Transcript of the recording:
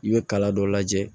I bɛ kala dɔ lajɛ